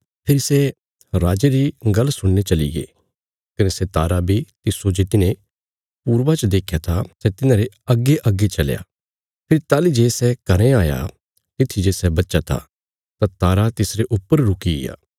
फेरी सै राजे री गल्ल सुणीने चलीगे कने सै तारा बी तिस्सो जे तिन्हें पूर्वा च देख्या था सै तिन्हांरे अग्गेअग्गे चलया फेरी ताहली जे सै घरें आया तित्थी जे सै बच्चा था तां तारा तिसरे ऊपर रुकिग्या